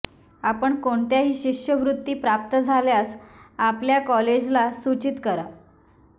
आपण कोणत्याही शिष्यवृत्ती प्राप्त झाल्यास आपल्या कॉलेजला सूचित करा